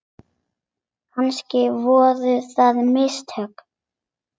Kannski voru það mistök.